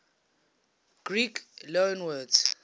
greek loanwords